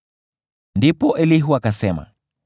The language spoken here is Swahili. Ndipo Elihu akasema: